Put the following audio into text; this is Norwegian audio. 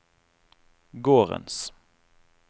gårdens